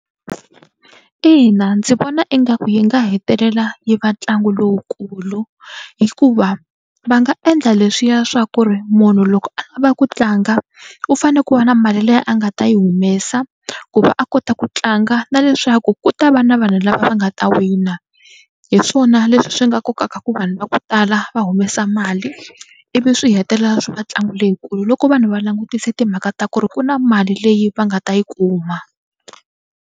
Ina ndzi vona ingaku yi nga hetelela yi va ntlangu lowukulu hikuva va nga endla leswiya swa ku ri munhu loko a lava ku tlanga u fanele ku va na mali leyi a nga ta yi humesa ku va a kota ku tlanga na leswaku ku ta va na vanhu lava va nga ta wina. Hi swona leswi swi nga kokaka ku vanhu va ku tala va humesa mali ivi swi hetelela swi va tlangu leyikulu loko vanhu va langutise timhaka ta ku ri ku na mali leyi va nga ta yi kuma.